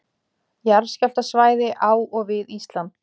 Jarðskjálftasvæði á og við Ísland.